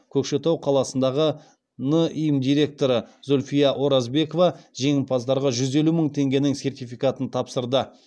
көкшетау қаласындағы ним директоры зульфия оразбекова жеңімпаздарға жүз елу мың теңгенің сертификатын тапсырды